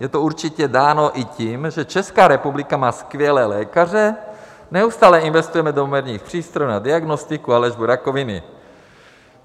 Je to určitě dáno i tím, že Česká republika má skvělé lékaře, neustále investujeme do moderních přístrojů na diagnostiku a léčbu rakoviny.